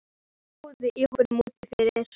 Margir stóðu í hópum úti fyrir.